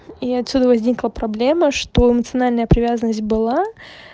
и отсюда возникла проблема что эмоциональная привязанность была